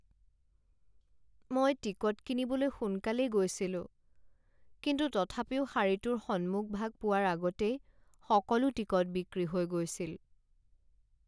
মই টিকট কিনিবলৈ সোনকালেই গৈছিলো কিন্তু তথাপিও শাৰীটোৰ সন্মুখভাগ পোৱাৰ আগতেই সকলো টিকট বিক্ৰী হৈ গৈছিল।